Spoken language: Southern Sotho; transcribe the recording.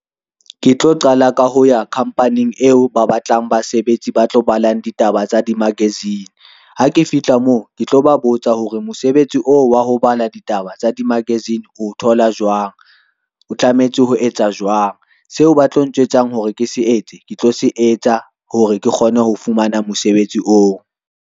Ke tlo qala ka ho ya khamphaneng eo ba batlang basebetsi ba tlo ballang ditaba tsa di-magazine. Ha ke fihla moo ke tlo ba botsa hore mosebetsi oo wa ho bala ditaba di-magazine o thola jwang, o tlametse ho etsa jwang. Seo ba tlo njwetsa hore ke se etse, ke tlo se etsa hore ke kgone ho fumana mosebetsi oo.